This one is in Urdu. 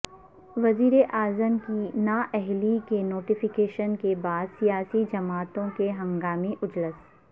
وزیراعظم کی نااہلی کے نوٹیفکیشن کے بعد سیاسی جماعتوں کے ہنگامی اجلاس